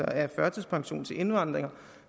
af førtidspension til indvandrere